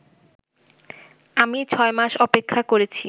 আমি ছয় মাস অপেক্ষা করেছি